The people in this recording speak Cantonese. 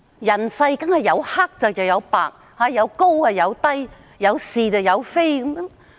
人世當然有黑又有白，有高有低，有是有非。